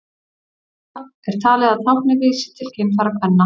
líklegra er talið að táknið vísi til kynfæra kvenna